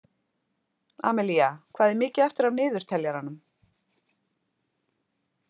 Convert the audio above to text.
Amilía, hvað er mikið eftir af niðurteljaranum?